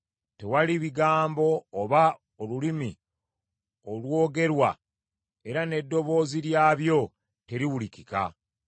Tewali bigambo oba olulimi olwogerwa, era n’eddoboozi lyabyo teriwulikika.